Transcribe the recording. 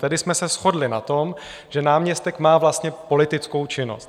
Tedy jsme se shodli na tom, že náměstek má vlastně politickou činnost.